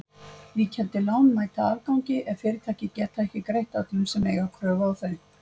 Víkjandi lán mæta afgangi ef fyrirtæki geta ekki greitt öllum sem eiga kröfu á þau.